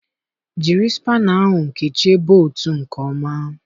Jiri spana ahụ kechie boltụ nke ọma.